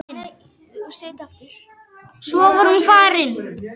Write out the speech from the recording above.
Svo var hún farin.